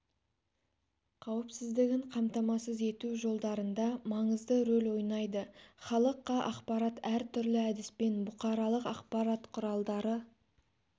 қауіпсіздігін қамтамасыз ету жолдарында маңызды рөл ойнайды халыққа ақпарат әр түрлі әдіспен бұқаралық ақпарат құралдары